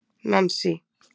Nansý